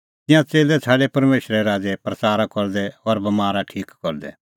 तिंयां च़ेल्लै छ़ाडै परमेशरे राज़े प्रच़ारा करदै और बमारा ठीक करदै